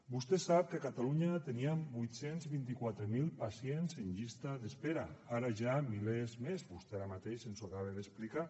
vostè sap que a catalunya teníem vuit cents i vint quatre mil pacients en llista d’espera ara ja milers més vostè ara mateix ens ho acaba d’explicar